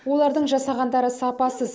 олардың жасағандары сапасыз